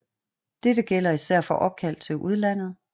Dette gælder især for opkald til udlandet